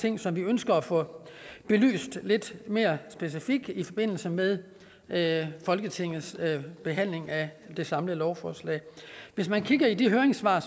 ting som vi ønsker at få belyst lidt mere specifikt i forbindelse med med folketingets behandling af det samlede lovforslag hvis man kigger i de høringssvar